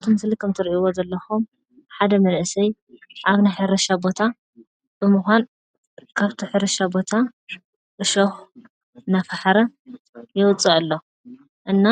ኣብቲ ምስሊ ከምትሪእዎ ዘለኹም ሓደ መንእሰይ ኣብ ናይ ሕርሻ ቦታ ብምኳን ኣብቲ ሕርሻ ቦታ ዕሾኽ እናፈሓረ የውፅእ ኣሎ፡፡ እና